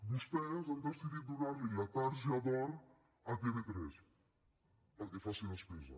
vostès han decidit donarli la targeta d’or a tv3 perquè faci despesa